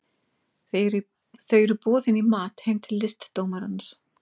Þau eru boðin í mat heim til listdómarans